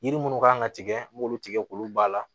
Yiri minnu kan ka tigɛ m'olu tigɛ k'olu ba la